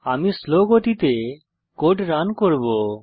আমি স্লো গতিতে code run করব